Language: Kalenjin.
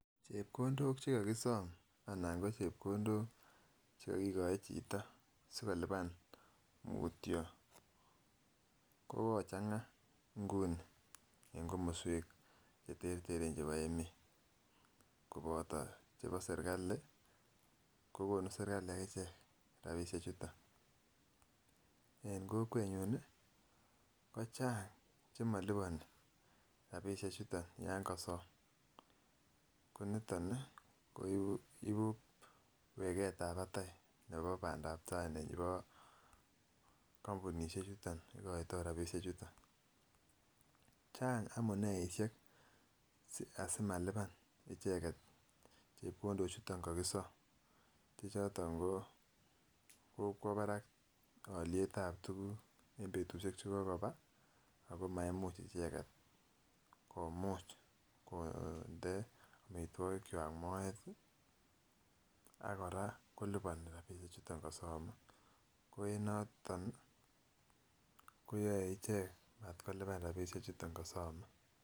Chepkondok chekikisom anan ko chepkondok chekokikoi chito sikolipan mutyo ko kochanga Nguni en komoswek cheterter chebo emet koboto chebo serkali kokonu serkali akichek rabishek chuton. En kokwenyun nii ko Chang chemoliponi rabishek chuton yon kosom ko niton nii ko ibu ibu weketab patai nebo Pandap tai nebo kompunishek chuton ikoito rabishek chuton. Chang amuneishek asimalipan icheket chepkondok chuton kokisome che choton ko kokwo barak olietab tukuk en betushek chekokoba ako maimuch icheket komuch konde omitwokik kwak moet tii ak Koraa koliponi rabishek chuton kosome, ko en noton nii koyoe ichek matkolipan rabishek chuton kosome.